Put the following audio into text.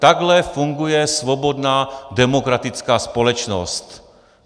Takhle funguje svobodná demokratická společnost.